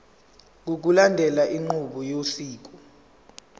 ngokulandela inqubo yosiko